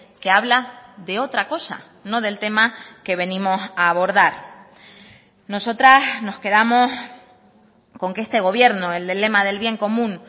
que habla de otra cosa no del tema que venimos a abordar nosotras nos quedamos con que este gobierno el del lema del bien común